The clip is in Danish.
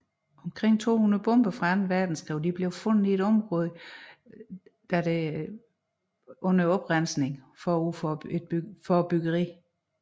Omkring 200 bomber fra Anden Verdenskrig blev fundet i området under oprensningen forud for byggeriet